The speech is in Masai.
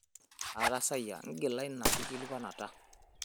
Aatasayia ingila ina kiilikuanata.